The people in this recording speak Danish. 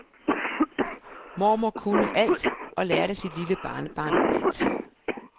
Mormor kunne alt og lærte sit lille barnebarn alt.